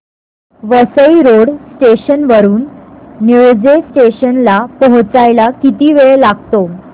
Vasai road station वरून Nilje station ला पोहचायला किती वेळ लागतो